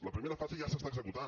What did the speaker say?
la primera fase ja s’està executant